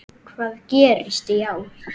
Hvað gerist í ár?